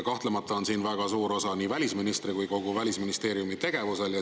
Kahtlemata on siin väga suur osa nii välisministri kui ka kogu Välisministeeriumi tegevusel.